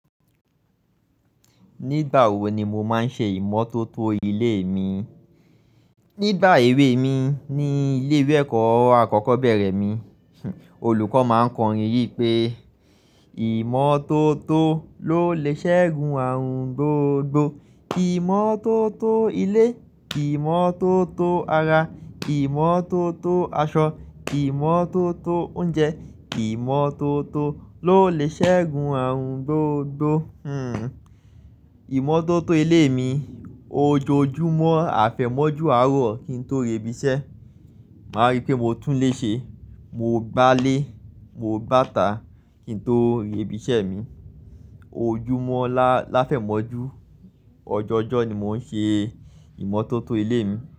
Nígbà wo ni mo máa ń ṣe ìmọ́tótó ilé mi? Nígbà èwe mi ní ilé ìwé ẹ̀kọ́ akọ́kọ́ bẹ̀rẹ̀ mi, olùkọ́ máa ń kọrin yí pé, ìmọ́tótó ló lè ṣẹ́gun àrùn gbogbo. Ìmọ́tótó ilé, ìmọ́tótó ara, ìmọ́tótó aṣọ, ìmọ́tótó oúnjẹ, ìmọ́tótó ló lè ṣẹ́gun àrùn gbogbo. Hmm, ìmọ́tótó ilé mi ojoojúmọ́ afẹ̀mọ́jú àárọ̀ kí n tó rẹ ibi iṣẹ́. Máa rí pé mo tún ilé ṣe, mo gbá ilẹ̀ mo gbá ìta kí n tó rẹ ibi iṣẹ́ mi ojúmọ́ láfẹ̀mọ́jú ọjọ́jọ́ ni mò ń ṣe ìmọ́tótó ilé mi.